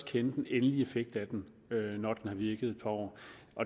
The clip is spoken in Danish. kende den endelige effekt af den når den har virket et par år